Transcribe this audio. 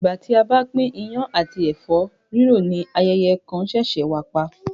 Ìgbà tí a bá pín iyán àti ẹ̀fọ́ rírò ni ayẹyẹ kan ṣẹ̀ṣẹ̀ wà pa